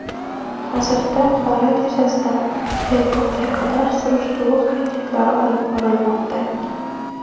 Hozirda holat yuzasidan tergovga qadar surishtiruv harakatlari olib borilmoqda.